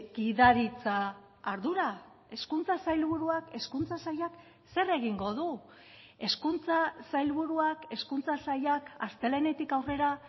gidaritza ardura hezkuntza sailburuak hezkuntza sailak zer egingo du hezkuntza sailburuak hezkuntza sailak astelehenetik aurrera